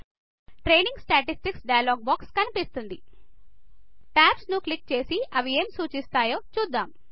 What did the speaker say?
training statistics dialog box కనిపిస్తుంది tabs ను click చేసి అవి ఏమి సుచిస్తాయో చూద్దాం